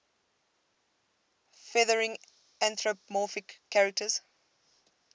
featuring anthropomorphic characters